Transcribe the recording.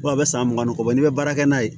a bɛ san mugan ni kɔ n'i bɛ baara kɛ n'a ye